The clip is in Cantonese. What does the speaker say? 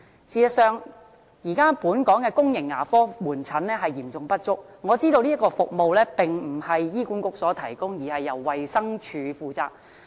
事實上，現時本港的公營牙科門診服務嚴重不足，我知道這項服務並非由醫管局提供，而是由衞生署負責。